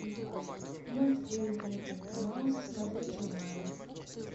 мультфильм клуб микки мауса смотреть онлайн